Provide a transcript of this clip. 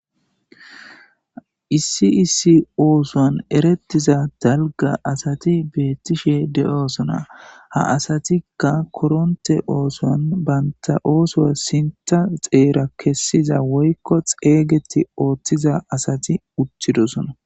Issi isi oosoan erettiza dalga asati beettishe de'osona ha asatikka koronte oosoan baynta ooso sinta xeera kessiza woykko xeeygeti ooththiza asati uttidosona.